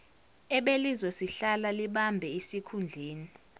ebelizosihlala libambe isikhundleni